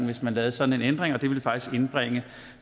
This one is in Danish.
hvis man lavede sådan en ændring og det ville faktisk indbringe